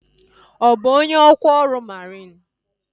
Ọ bụ onye ọkwa ọrụ mariin?